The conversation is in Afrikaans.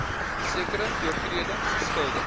sekere oortredings skuldig